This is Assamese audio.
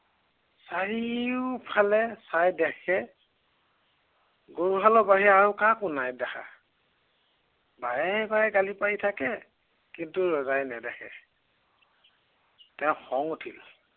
চাৰিওফালে চাই দেখে গৰুহালৰ বাহিৰে আন কাকো নাই দেখা। বাৰে বাৰে গালি পাৰি থাকে কিন্তু ৰজাই নেদেখে। তেওঁৰ খং উঠিল।